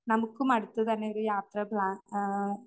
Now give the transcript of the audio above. നമുക്കും അടുത്തുതന്നെ ഒരു യാത്ര പ്ലാൻ ആഹ